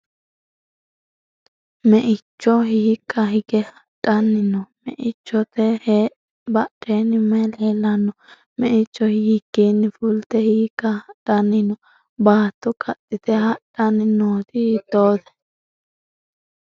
Me'icho hiikka higge hadhanni no? Me'ichote badheenni mayi leellanno? Meicho hiikkiinni fulte hiikka hadhanni no? Baatto kaxxite hadhanni nooti hiittoote?